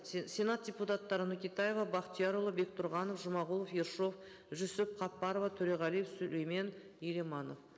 сенат депутаттары нөкетаева бақтиярұлы бектұрғанов жұмағұлов ершов жүсіп қаппарова төреғалиев сүлеймен еламанов